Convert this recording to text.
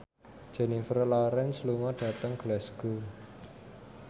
Jennifer Lawrence lunga dhateng Glasgow